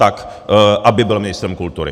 Tak aby byl ministrem kultury.